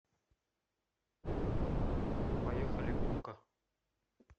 поехали умка